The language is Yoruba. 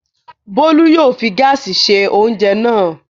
Bólú yóò fi gáásì se oúnjẹ náà.